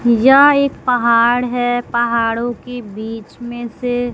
यह एक पहाड़ है पहाड़ों के बीच में से।